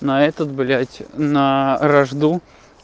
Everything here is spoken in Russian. на этот блять на вражду